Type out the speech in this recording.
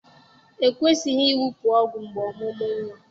E kwesịghị ịwụpụ ọgwụ mgbe ọmụmụ nwa